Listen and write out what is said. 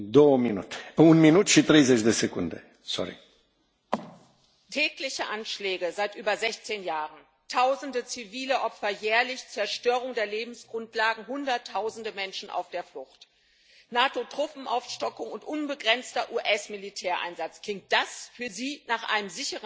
Herr Präsident! Tägliche Anschläge seit über 16 Jahren, Tausende zivile Opfer, alljährlich Zerstörung der Lebensgrundlagen, Hunderttausende Menschen auf der Flucht, NATO Truppenaufstockung und unbegrenzter US Militäreinsatz klingt das für Sie nach einem sicheren Land,